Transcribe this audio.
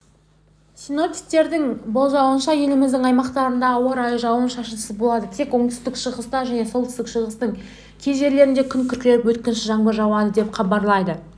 синоптиктердің болжауынша еліміздің аймақтарында ауа райы жауын-шашынсыз болады тек оңтүстік-шығыста және солтүстік-шығыстың кей жерлерінде күн күркіреп өткінші жаңбыр жауады деп хабарлайды